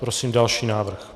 Prosím další návrh.